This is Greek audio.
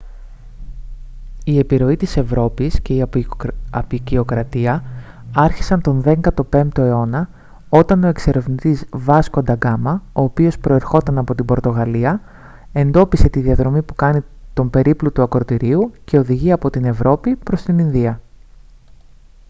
η επιρροή της ευρώπης και η αποικιοκρατία άρχισαν τον 15ο αιώνα όταν ο εξερευνητής βάσκο ντα γκάμα ο οποίος προερχόταν από την πορτογαλία εντόπισε τη διαδρομή που κάνει τον περίπλου του ακρωτηρίου και οδηγεί από την ευρώπη προς την ινδία